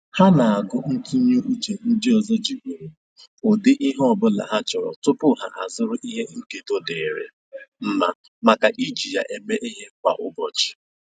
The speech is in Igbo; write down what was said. Ha na-agụ ntụnye uche ndị ọzọ jigoro ụdị ihe ọbụla ha chọrọ tupu ha azụrụ ihe nkedo dịịrị mma maka iji ya eme ihe kwa ụbọchị